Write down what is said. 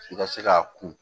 I ka se k'a kun